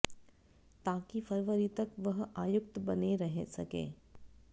ताकि फरवरी तक वह आयुक्त बने रह सकें